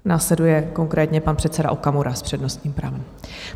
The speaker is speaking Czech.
Následuje konkrétně pan předseda Okamura s přednostním právem.